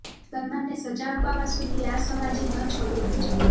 સલમાનને સજા અપાવવા સુધી આ સમાજે ન છોડ્યો પીછો